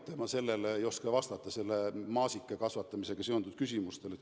Ma ei oska vastata maasikakasvatamisega seonduvatele küsimustele.